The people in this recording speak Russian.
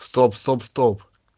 стоп стоп стоп